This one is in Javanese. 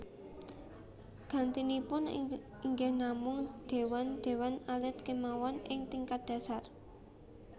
Gantinipun inggih namung déwan déwan alit kémawon ing tingkat dhasar